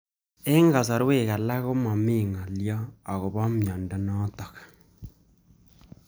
Eng'kasarwek alak ko mami ng'alyo akopo miondo notok